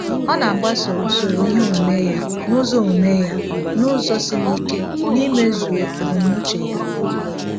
O na-agbaso usoro ihe omume ya n’ụzọ omume ya n’ụzọ siri ike n’imezuo ebumnuche Ya.